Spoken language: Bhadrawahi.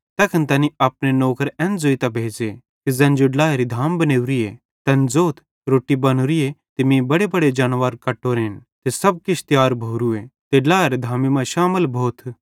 तैखन तैनी अपने नौकर एन ज़ोइतां भेज़े कि ज़ैन जेई ड्लाएरी धाम बनेवरीए तैन ज़ोथ रोट्टी बनोरीए ते मीं बडेबडे जानवर कट्टोरन ते सब किछ तियार भोरूए ते ड्लाएरी धामी मां शामल भोथ